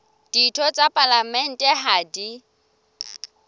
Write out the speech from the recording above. ditho tsa palamente ha di